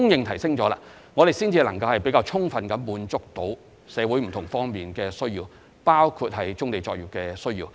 如是者，我們才能充分滿足社會不同方面的需要，包括棕地作業的需要。